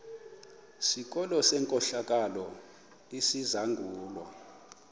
sikolo senkohlakalo esizangulwa